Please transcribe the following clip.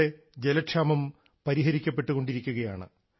ഇന്നിവിടെ ജലക്ഷാമം പരിഹരിക്കപ്പെട്ടുകൊണ്ടിരിക്കുകയാണ്